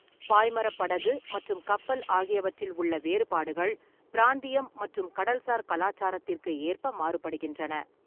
பாய்மரப் படகு மற்றும் கப்பல் ஆகியவற்றில் உள்ள வேறுபாடுகள் பிராந்தியம் மற்றும் கடல்சார் கலாச்சாரத்திற்கு ஏற்ப மாறுபடுகின்றன.